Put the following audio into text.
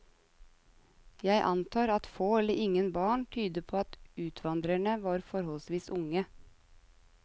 Jeg antar at få eller ingen barn tyder på at utvandrerne var forholdsvis unge.